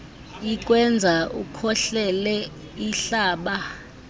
ikwenza ukhohlele ihlaba